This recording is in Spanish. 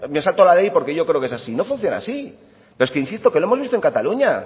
me salto la ley porque yo creo que es así pero es que insisto lo hemos visto en cataluña